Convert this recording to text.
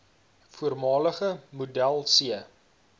voormalige model c